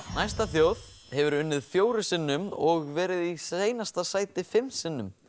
næsta þjóð hefur unnið fjórum sinnum og verið í seinasta sæti fimm sinnum